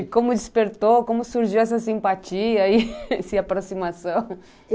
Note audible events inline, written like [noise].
E como despertou, como surgiu essa [laughs] simpatia e essa aproximação?